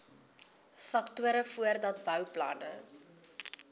faktore voordat bouplanne